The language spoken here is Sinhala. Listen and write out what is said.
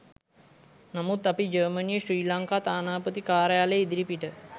නමුත් අපි ජර්මනියේ ශ්‍රී ලංකා තානාපති කාර්යාලය ඉදිරිපිට